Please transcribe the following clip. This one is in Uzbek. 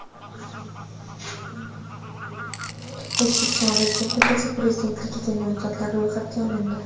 O‘zbekiston Respublikasi Prezidentligiga nomzodlar ro‘yxatga olindi.